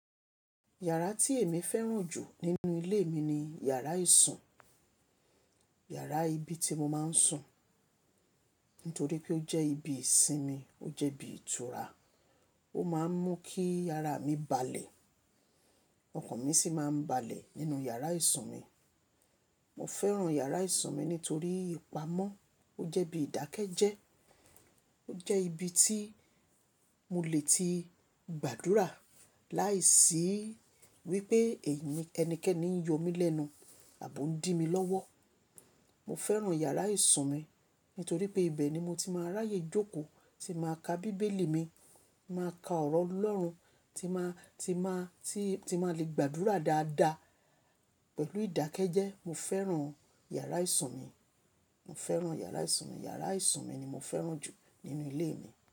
Yàrá tí èmi fẹ́ràn jù nínú ilé mi ni yàrá ìsùn. Yàrá ibi tí mo máa ń sùn nítorí pé ó jẹ́ ibi ìsinmi, ó jẹ́ ibi ìtura. Ó máa ń mú kí ara mi balẹ̀. Ọkàn mi sì máa ń balẹ̀ nínú yàrá ìsùn mi. Mo fẹ́ràn yàrá ìsùn mi nítorí ìpamọ́. Ó jẹ́ bí ìdákẹ́ jẹ. Ó jẹ́ ibi tí mo lè ti gbàdúrà láìsí wípé èyí ni ẹnikẹ́ni ń yọ mí lẹ́nu àbò ń dì mi lọ́wọ́. Mo fẹ́ràn yàrá ìsùn mi nítorí pé ibẹ̀ ni mo ti máa ráyè jókòó, tí máa ka bíbélì mi, máa ka ọ̀rọ̀ Ọlọ́run, tí máa, tí máa, tí, tí máa lè gbàdúrà dáadáa pẹ̀lú ìdákẹ́ jẹ́. Mo fẹ́ràn yàrá ìsùn mi. Mo fẹ́ràn yàrá ìsùn mi. Yàrá ìsùn mi ni mo fẹ́ràn jù nínú ilé mi.